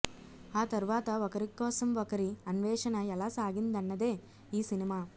ఆ తర్వాత ఒకరి కోసం ఒకరి అన్వేషణ ఎలా సాగిందన్నదే ఈ సినిమా